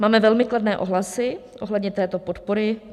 Máme velmi kladné ohlasy ohledně této podpory.